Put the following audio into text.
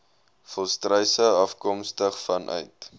volstruise afkomstig vanuit